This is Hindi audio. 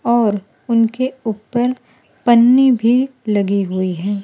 और उनके ऊपर पन्नी भी लगी हुई है।